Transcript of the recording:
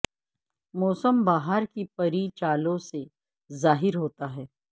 موسم بہار کی پری چالوں سے ظاہر ہوتا ہے